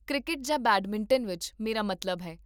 cricket ਜਾਂ badminton ਵਿੱਚ, ਮੇਰਾ ਮਤਲਬ ਹੈ